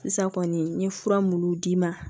Sisan kɔni n ye fura munnu d'i ma